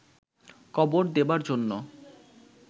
কবর দেবার জন্য